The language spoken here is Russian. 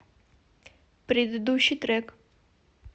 предыдущий трек